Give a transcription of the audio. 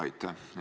Aitäh!